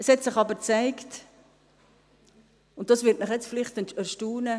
Es hat sich aber gezeigt, und dies wird Sie nun vielleicht erstaunen: